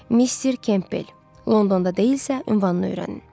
Mister Kempbel Londonda deyilsə, ünvanını öyrənin.